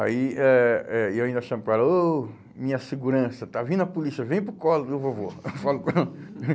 Aí eh eh eu ainda chamo para ela, oh, minha segurança, está vindo a polícia, vem para o colo do vovô. Eu falo com ela.